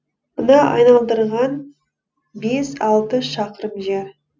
мына айналдырған бес алты шақырым жер